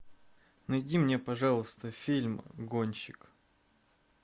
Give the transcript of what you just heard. найди мне пожалуйста фильм гонщик